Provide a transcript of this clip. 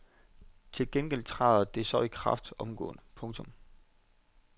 Til gengæld træder det så i kraft omgående. punktum